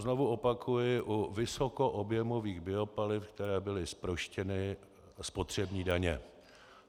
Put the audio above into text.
Znovu opakuji, u vysokoobjemových biopaliv, která byla zproštěna spotřební daně.